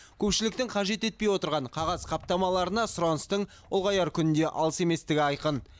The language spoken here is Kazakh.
көпшіліктің қажет етпей отырған қағаз қаптамаларына сұраныстың ұлғаяр күні де алыс еместігі айқын